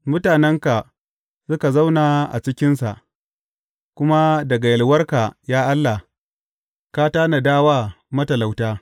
Mutanenka suka zauna a cikinsa, kuma daga yalwarka, ya Allah, ka tanada wa matalauta.